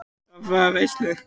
Þurft að afþakka veislur.